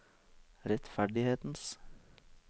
rettferdighetens